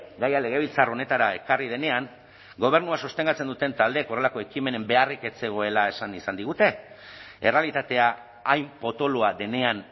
gaia legebiltzar honetara ekarri denean gobernua sostengatzen duten taldeek horrelako ekimenen beharrik ez zegoela esan izan digute errealitatea hain potoloa denean